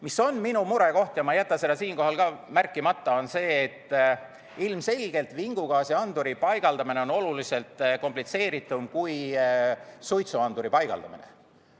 Mis on minu murekoht ja ma ei jäta seda siinkohal märkimata, on see, et ilmselgelt on vingugaasianduri paigaldamine oluliselt komplitseeritum kui suitsuanduri paigaldamine.